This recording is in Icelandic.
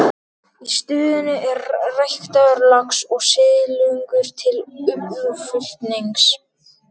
Í stöðinni er ræktaður lax og silungur til útflutnings.